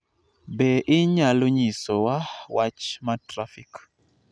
Be inyalo nyisowa wach ma trafik